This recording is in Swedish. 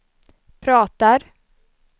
pratar